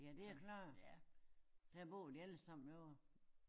Ja det er klart der bor de alle sammen ovre?